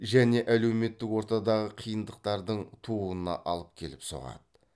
және әлеметтік ортадағы қиындықтардың тууына алып келіп соғады